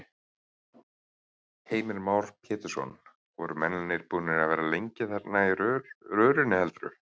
Heimir Már Pétursson: Voru mennirnir búnir að vera lengi þarna inni í rörinu heldurðu?